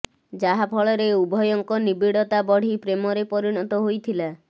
ଯାହା ଫଳରେ ଉଭୟଙ୍କ ନିବିଡତା ବଢି ପ୍ରେମରେ ପରିଣତ ହୋଇଥିଲା